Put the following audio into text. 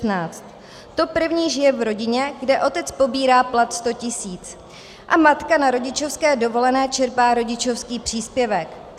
To první žije v rodině, kde otec pobírá plat 100 tisíc a matka na rodičovské dovolené čerpá rodičovský příspěvek.